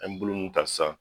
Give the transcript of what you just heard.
An ye bulu mun ta san